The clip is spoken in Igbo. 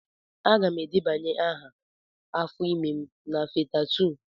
Aga m edebanye aha maka afọ ime m na Fatha2.